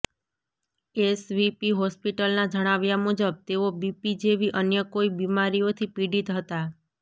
SVP હોસ્પિટલના જણાવ્યા મુજબ તેઓ બીપી જેવી અન્ય કોઈ બિમારીઓથી પીડિત હતા